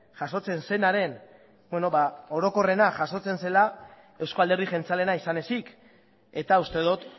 jasotzen zenaren orokorrena jasotzen zela eusko alderdi jeltzaleena izan ezik eta uste dut